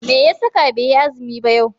Meya saka baiyi azumi ba yau?